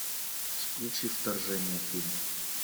включи вторжение фильм